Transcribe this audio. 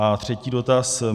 A třetí dotaz.